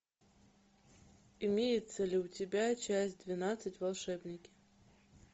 имеется ли у тебя часть двенадцать волшебники